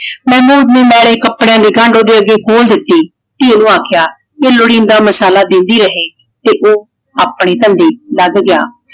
ਮਹਿਮੂਦ ਨੇ ਮੈਲੇ ਕੱਪੜਿਆਂ ਦੀ ਗੰਡ ਉਹਦੇ ਅੱਗੇ ਖੋਲ ਦਿੱਤੀ। ਧੀ ਨੂੰ ਆਖਿਆ ਜੇ ਲੋੜੀਂਦਾ ਮਸਾਲਾ ਦੇਂਦੀ ਰਹੇ ਤੇ ਉਹ ਆਪਣੇ ਧੰਦੇ ਲੱਗ ਗਿਆ।